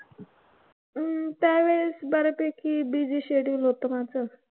अं त्यावेळेस बऱ्यापैकी busy schedule होतं माझं.